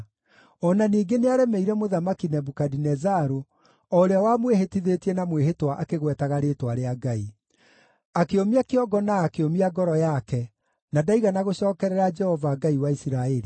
O na ningĩ nĩaremeire Mũthamaki Nebukadinezaru, o ũrĩa wamwĩhĩtithĩtie na mwĩhĩtwa akĩgwetaga rĩĩtwa rĩa Ngai. Akĩũmia kĩongo na akĩũmia ngoro yake, na ndaigana gũcookerera Jehova, Ngai wa Isiraeli.